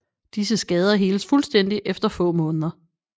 Disse skader heles fuldstændig efter få måneder